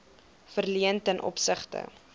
verleen ten opsigte